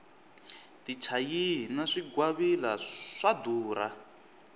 tichayihi na swingwavila swa durha